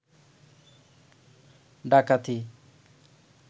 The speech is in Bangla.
ডাকাতি